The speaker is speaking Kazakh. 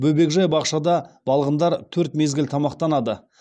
бөбекжай бақшада балғындар төрт мезгіл тамақтанады